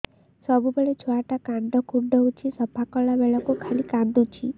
ସବୁବେଳେ ଛୁଆ ଟା କାନ କୁଣ୍ଡଉଚି ସଫା କଲା ବେଳକୁ ଖାଲି କାନ୍ଦୁଚି